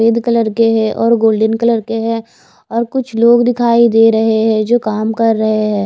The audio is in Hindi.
रेड कलर के हे और गोल्डन कलर के हे और कुछ लोग दिखाई देरे हे जो काम कर रहे हैं।